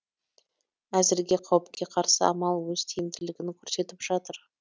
әзірге қауіпке қарсы амал өз тиімділігін көрсетіп жатыр